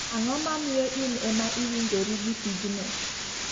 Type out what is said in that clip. Ang'o mamiyo in ema iwinjo ri gi tijno?